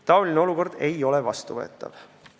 Taoline olukord ei ole vastuvõetav.